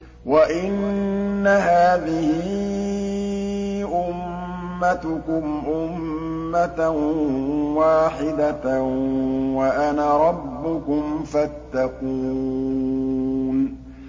وَإِنَّ هَٰذِهِ أُمَّتُكُمْ أُمَّةً وَاحِدَةً وَأَنَا رَبُّكُمْ فَاتَّقُونِ